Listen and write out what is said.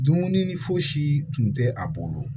Dumuni fosi tun tɛ a bolo